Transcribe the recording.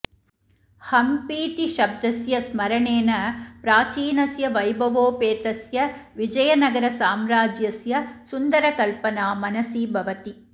हम्पीति शब्दस्य स्मरणेन प्राचीनस्य वैभवोपेतस्य विजयनगरसाम्राज्यस्य सुन्दरकल्पना मनसि भवति